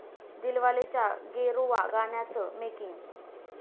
दिलवाले'च्या 'गेरुवा' गाण्याचं मेकिंग